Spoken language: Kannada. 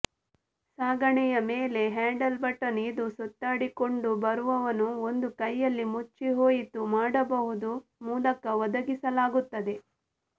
ಸಾಗಣೆಯ ಮೇಲೆ ಹ್ಯಾಂಡಲ್ ಬಟನ್ ಇದು ಸುತ್ತಾಡಿಕೊಂಡುಬರುವವನು ಒಂದು ಕೈಯಲ್ಲಿ ಮುಚ್ಚಿಹೋಯಿತು ಮಾಡಬಹುದು ಮೂಲಕ ಒದಗಿಸಲಾಗುತ್ತದೆ